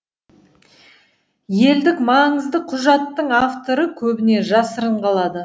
елдік маңызды құжаттың авторы көбіне жасырын қалады